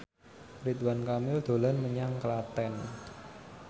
Ridwan Kamil dolan menyang Klaten